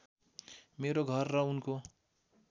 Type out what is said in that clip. मेरो घर र उनको